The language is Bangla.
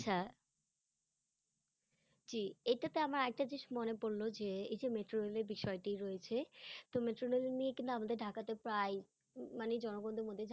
হ্যাঁ জি, এইটাতে আমার আর একটা জিনিস মনে পড়লো যে এই যে metro rail -এর বিষয়টি রয়েছে, তো metro rail নিয়ে কিন্তু আমাদের ঢাকাতে প্রায়ই, মানে জনগনদের মধ্যে